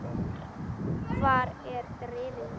Hvar er drifið mitt?